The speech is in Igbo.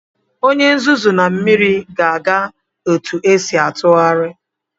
Onye nzuzu na mmiri ga-aga otu esi atụgharị.